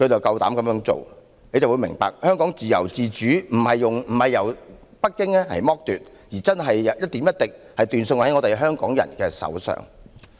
大家終於明白，香港的自由自主不是北京剝奪，而是一點一滴的斷送在香港人的手上。